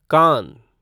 कान